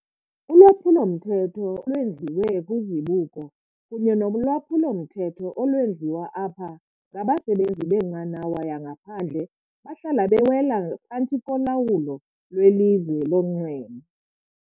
Ulwaphulo-mthetho olwenziwe kwizibuko kunye nolwaphulo-mthetho olwenziwa apho ngabasebenzi benqanawa yangaphandle bahlala bewela phantsi kolawulo lweLizwe lonxweme.